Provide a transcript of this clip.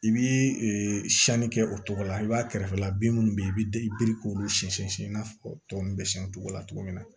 I bi siyɛnni kɛ o togo la i b'a kɛrɛfɛla bin minnu bɛ ye i bɛ i biri k'olu sɛnsɛn siɲɛ i n'a fɔ tɔ ninnu bɛ siyɛn o togo la cogo min na